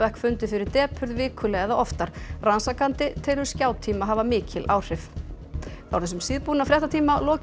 fundu fyrir depurð vikulega eða oftar rannsakandi telur hafa mikil áhrif þá er þessum síðbúna fréttatíma lokið